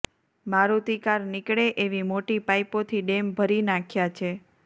Maruti car નીકળે એવી મોટી પાઈપોથી ડેમ ભરી નાંખ્યા છે